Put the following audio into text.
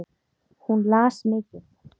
Hún las mikið.